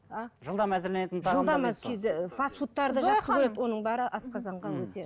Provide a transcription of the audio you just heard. а жылдам әзірленетін фасфуттарды оның бәрі асқазанға өте